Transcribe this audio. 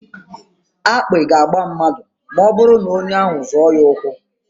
Akpị ga-agba mmadụ ma ọbụrụ na onye ahụ zọọ ya ụkwụ.